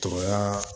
Togoya